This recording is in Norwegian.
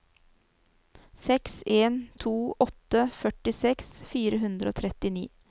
seks en to åtte førtiseks fire hundre og trettini